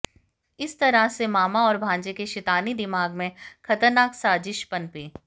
इस तरह से मामा और भांजे के शैतानी दिमाग में खतरनाक साजिश पनपी